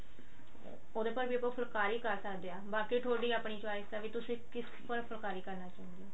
ਉਹਦੇ ਪਰ ਵੀ ਆਪਾਂ ਫੁਲਕਾਰੀ ਕਰ ਸਕਦੇ ਹਾਂ ਬਾਕੀ ਥੋਡੀ ਆਪਨ choice ਹੈ ਵੀ ਤੁਸੀਂ ਕਿਸ ਪਰ ਫੁਲਕਾਰੀ ਕਰਨਾ ਚਾਹੁੰਦੇ ਹੋ